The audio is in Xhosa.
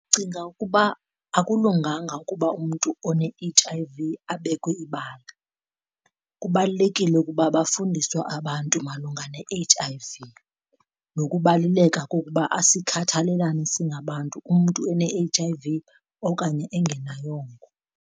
Ndicinga ukuba akulunganga ukuba umntu one-H_I_V abekwe ibala. Kubalulekile ukuba bafundiswe abantu malunga ne-H_I_V nokubaluleka kokuba asikhathelelane singabantu umntu ene-H_I_V okanye engenayongo.